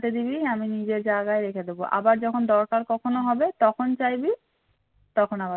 আমার হাতে দিবি আমি নিজের জায়গায় রেখে দেবো আবার যখন দরকার কখনো হবে তখন চাইবি তখন আবার